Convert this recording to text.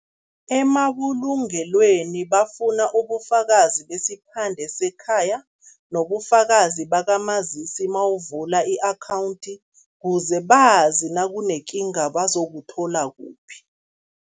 Emabulungelweni bafuna ubufakazi besiphande sekhaya nobufakazi bakamazisi mawuvula i-akhawundi, kuze bazi nakunekinga bazokuthola kuphi.